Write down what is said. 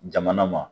Jamana ma